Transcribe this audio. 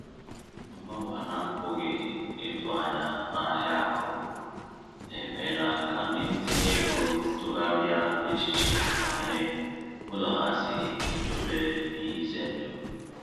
Mgbanwe a na-apụghị ịtụ anya n’ahịa akụ emeela ka ndị ntinye ego tụgharịa echiche banyere ụzọ ha si edobe ihe ize ndụ.